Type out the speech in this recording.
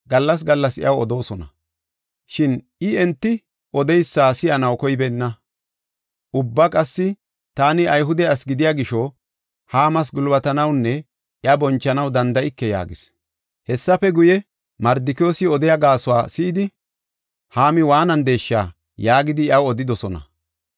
gallas gallas iyaw odoosona. Shin I enti odeysa si7anaw koybeenna. Ubba qassi, “Taani Ayhude asi gidiya gisho, Haama gulbatanawunne iya bonchanaw danda7ike” yaagis. Hessafe guye, “Mardikiyoosi odiya gaasuwa si7idi, Haami waanandeesha!” yaagidi iyaw odidosona.